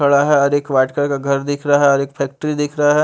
बड़ा हैं और एक वाइट कलर का घर दिख रहा हैं और एक फैक्ट्री दिख रहा है।